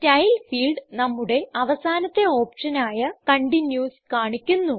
style field നമ്മുടെ അവസാനത്തെ option ആയ കണ്ടിന്യൂസ് കാണിക്കുന്നു